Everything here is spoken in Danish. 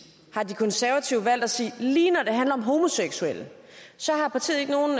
har de konservative valgt at sige at lige når det handler om homoseksuelle har partiet ikke nogen